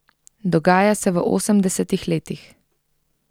Dogaja se v osemdesetih letih.